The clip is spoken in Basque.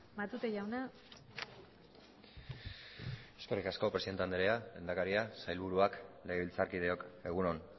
matute jauna eskerrik asko presidente anderea lehendakaria sailburuak legebiltzarkideok egun on